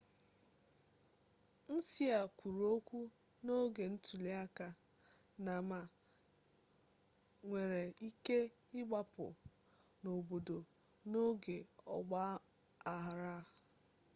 hsieh kwuru okwu n'oge ntuliaka na ma nwere ike ịgbapụ n'obodo n'oge ọgba aghara